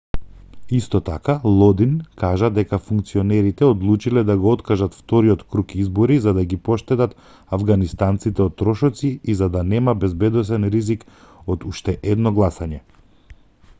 исто така лодин кажа дека функционерите одлучиле да го откажат вториот круг избори за да ги поштедат авганистанците од трошоци и за да нема безбедносен ризик од уште едно гласање